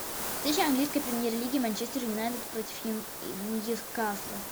встреча английской премьер лиги манчестер юнайтед против ньюкасла